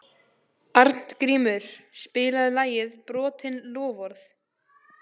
Arngrímur, spilaðu lagið „Brotin loforð“.